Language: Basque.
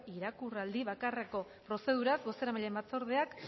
irakurraldi bakarreko prozeduraz bozeramaileen batzordeak